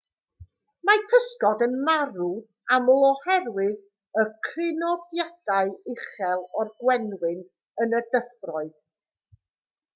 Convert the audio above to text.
mae pysgod yn marw'n aml oherwydd y crynodiadau uchel o'r gwenwyn yn y dyfroedd